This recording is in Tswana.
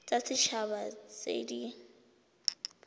tsa set haba tse di